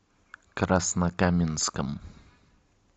краснокаменском